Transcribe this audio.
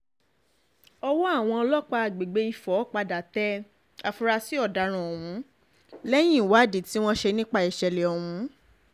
ọwọ́ àwọn ọlọ́pàá àgbègbè ifo padà tẹ àfúrásì ọ̀daràn ọ̀hún lẹ́yìn ìwádìí tí wọ́n ṣe nípa ìṣẹ̀lẹ̀ ọ̀hún